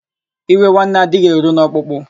Iwe nwanne adịghị eru n'ọkpụkpụ.